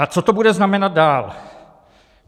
A co to bude znamenat dál?